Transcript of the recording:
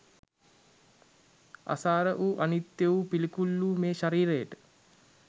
අසාර වූ අනිත්‍ය වූ පිළිකුල් වූ මේ ශරීරයට